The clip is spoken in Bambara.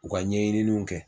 U ka ɲɛɲininiw kɛ.